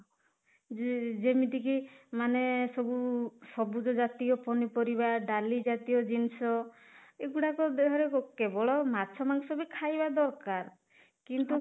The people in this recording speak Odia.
ଯେ ଯେମିତି କି ମାନେ ସବୁ ସବୁଜ ଜାତୀୟ ପନିପରିବା ଡାଲି ଜାତୀୟ ଜିନିଷ ଏଗୁଡ଼ାକ ଦେହରେ କେବଳ ମାଛ ମାଂସ ବି ଖାଇବା ଦରକାର କିନ୍ତୁ